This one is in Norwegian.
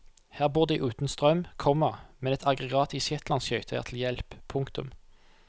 Her bor de uten strøm, komma men et aggregat i shetlandsskøyta er til hjelp. punktum